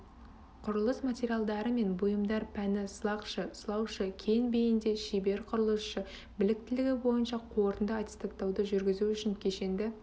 құрылыс материалдары мен бұйымдар пәні сылақшы сылаушы кең бейінді шебер құрылысшы біліктілігі бойынша қорытынды аттестаттауды жүргізу үшін кешенді